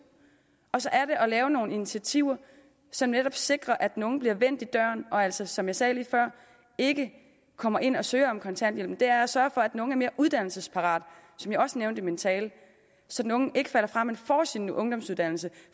og så er det at lave nogle initiativer som netop sikrer at den unge bliver vendt i døren og altså som jeg sagde lige før ikke kommer ind og søger om kontanthjælp men det er at sørge for at den unge er mere uddannelsesparat som jeg også nævnte i min tale så den unge ikke falder fra men får sin ungdomsuddannelse